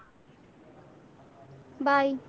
Bye .